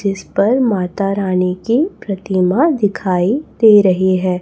जिस पर माता रानी कि प्रतिमा दिखाई दे रही है।